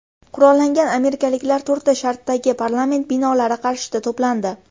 Qurollangan amerikaliklar to‘rtta shtatdagi parlament binolari qarshisida to‘plandi .